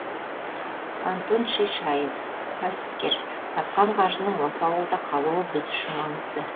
антон шишаев кәсіпкер тапқан қаржының осы ауылда қалуы біз үшін маңызды